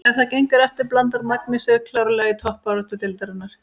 Ef það gengur eftir blandar Magni sér klárlega í toppbaráttu deildarinnar!